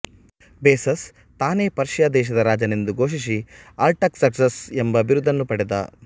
basis ತಾನೇ Persia ದೇಶದ ರಾಜನೆಂದು ಘೋಷಿಸಿ ಅರ್ಟಗ್ಸರ್ಕ್ಸಸ್ ಎಂಬ ಬಿರುದನ್ನು ಪಡೆದ